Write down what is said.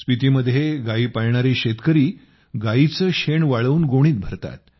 स्पितीमध्ये गायी पाळणारे शेतकरी गाईचे शेण वाळवून गोणीत भरतात